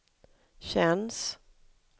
känns